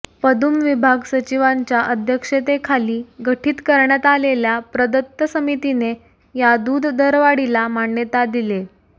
पदुम विभाग सचिवांच्या अध्यक्षतेखाली गठीत करण्यात आलेल्या प्रदत्त समितीने या दूध दरवाढीला मान्यता दिलीये